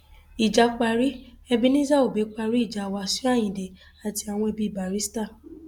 ìjà parí ebenezer obey parí ìjà wàsíù ayinde àti àwọn ẹbí barrister